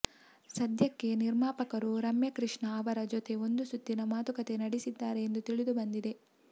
ಸದ್ಯಕ್ಕೆ ನಿರ್ಮಾಪಕರು ರಮ್ಯ ಕೃಷ್ಣ ಅವರ ಜೊತೆ ಒಂದು ಸುತ್ತಿನ ಮಾತುಕತೆ ನಡೆಸಿದ್ದಾರೆ ಎಂದು ತಿಳಿದುಬಂದಿದೆ